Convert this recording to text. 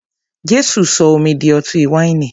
Jésù sọ omi di ọtí wáìnì.